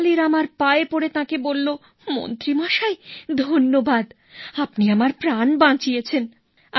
তেনালী রামার পায়ে পড়ে তাঁকে বলল মন্ত্রী মশাই ধন্যবাদ আপনি আমার প্রাণ বাঁচিয়েছেন